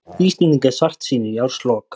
Íslendingar svartsýnir í árslok